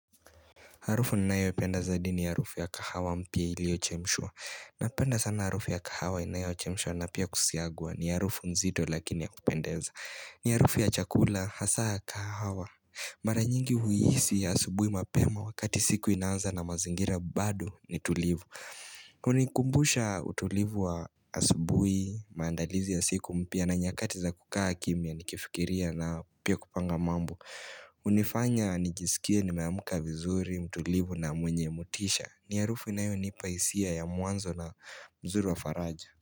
Harufu ninayo ipenda zaidi ni harufu ya kahawa mpya iliyo chemshwa. Napenda sana harufu ya kahawa inayo chemshwa na pia kusagwa ni harufu nzito lakini ya kupendeza. Ni harufu ya chakula hasaa kahawa. Maranyingi huisi ya asubui mapema wakati siku inaanza na mazingira bado nitulivu. Hunikumbusha utulivu wa asubui, maandalizi ya siku mpya na nyakati za kukaa kimya nikifikiria na pia kupanga mambo. Hunifanya nijisikie nimeamka vizuri, mtulivu na mwenye motisha ni harufu inayonipahisia ya mwanzo na mzuri wa faraja.